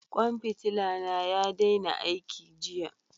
Kwan fitila na ya daina aiki jiya.